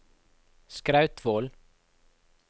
Skrautvål